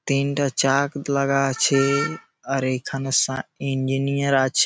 তিনটা চাক লাগা আছে-এ-এ । আর এখানে সা ইঞ্জিনিয়ার আছে।